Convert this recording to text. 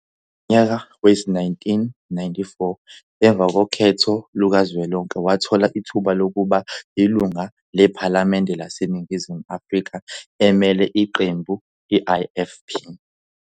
Ngonyaka wezi-1994 emva kokhetho lukazwelonke wathola ithuba lokuba yilungu lephalamende laseNingizimu Afrika emele iqembu l-IFP.